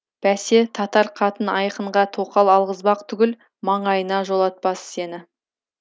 бәсе татар қатын айқынға тоқал алғызбақ түгіл маңайына жолатпас сені